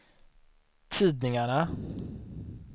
tidningarna